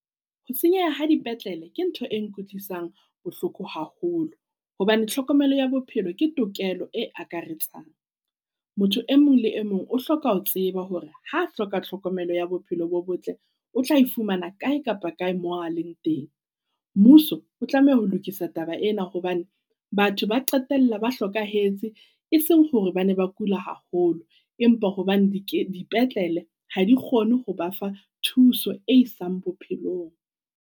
Ho senyeha ha dipetlele ke ntho e nkutlwisang bohloko haholo. Hobane tlhokomelo ya bophelo ke tokelo e akaretsang. Motho e mong le e mong o hloka ho tseba hore ha hloka tlhokomelo ya bophelo bo botle o tla e fumana kae kapa kae mo a leng teng. Mmuso o tlameha ho lokisa taba ena hobane batho ba qetella ba hlokahetse. Eseng hore ba ne ba kula haholo, empa hobane di dipetlele ha di kgone ho ba fa thuso e isang bophelong.